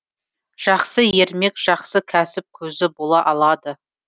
жақсы ермек жақсы кәсіп көзі бола алады